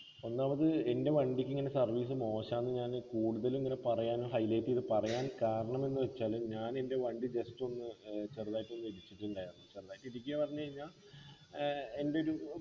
ഒന്നാമത് എൻ്റെ വണ്ടിക്കിങ്ങനെ service മോശാന്ന് ഞാന് കൂടുതലിങ്ങനെ പറയാൻ highlight ചെയ്ത് പറയാൻ കാരണമെന്ന് വെച്ചാല് ഞാന് എൻ്റെ വണ്ടി just ഒന്ന് ഏർ ചെറുതായിട്ടൊന്നു ഇടിച്ചിട്ടുണ്ടാർന്നു ചെറുതായിട്ടിടിക്ക്യ പറഞ്ഞു കൈഞ്ഞാ ഏർ എൻ്റെ ഒരു